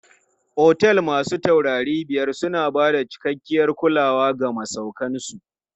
Otel masu taurari biyar na bada cikakkiyar kulawa ga masauƙan su.